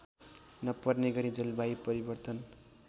नपर्ने गरी जलवायु परिवर्तन